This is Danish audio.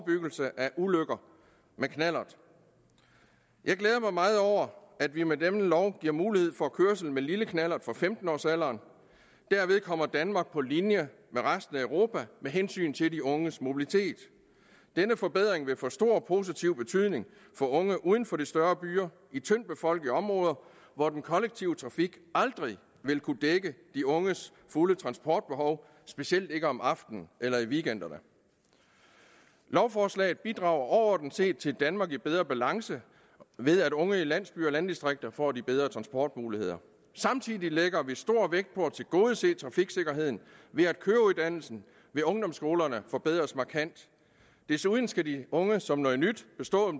ulykker med knallert jeg glæder mig meget over at vi med denne lov giver mulighed for kørsel med lille knallert fra femten års alderen derved kommer danmark på linje med resten af europa med hensyn til de unges mobilitet denne forbedring vil få stor positiv betydning for unge uden for de større byer i tyndtbefolkede områder hvor den kollektive trafik aldrig vil kunne dække de unges fulde transportbehov specielt ikke om aftenen eller i weekenderne lovforslaget bidrager overordnet set til et danmark i bedre balance ved at unge i landsbyer og landdistrikter får de bedre transportmuligheder samtidig lægger vi stor vægt på at tilgodese trafiksikkerheden ved at køreuddannelsen ved ungdomsskolerne forbedres markant desuden skal de unge som noget nyt